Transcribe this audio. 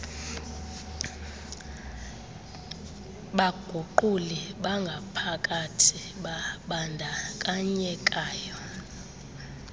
baguquli bangaphakathi babandakanyekayo